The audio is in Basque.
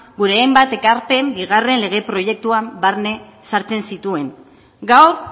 gure hainbat ekarpen bigarren lege proiektuan barne sartzen zituen gaur